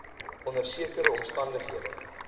onder sekere omstandighede